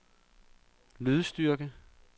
lydstyrke